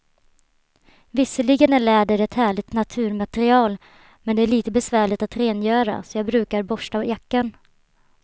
Visserligen är läder ett härligt naturmaterial, men det är lite besvärligt att rengöra, så jag brukar borsta jackan.